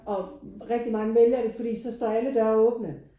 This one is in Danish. Og rigtig mange vælger det fordi så står alle dørene åbne